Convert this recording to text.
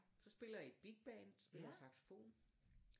Så spiller jeg i bigband så spiller jeg saxofon